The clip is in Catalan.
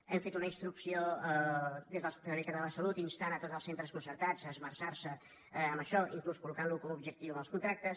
hem fet una instrucció des del servei català de la salut que insta tots els centres concertats a esmerçar se en això inclús a col·locar ho com a objectiu en els contractes